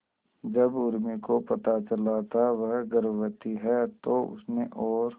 जब उर्मी को पता चला था वह गर्भवती है तो उसने और